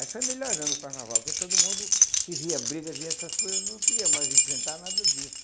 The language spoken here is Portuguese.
Aí foi melhorando o carnaval, porque todo mundo que via briga, via essas coisas, não queria mais enfrentar nada disso.